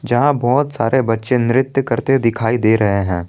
यहां बहुत सारे बच्चे नृत्य करते दिखाई दे रहे हैं।